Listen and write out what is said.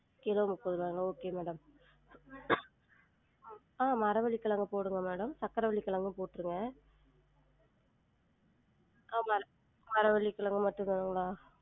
Kilo முப்பது ருவாங்களா? okay madam ஆஹ் மரவள்ளி கெழங்க போடுங்க madam சக்கரவள்ளி கெழங்கும் போற்றுங்க ஆமா மரவள்ளி மட்டும் தாங்களா?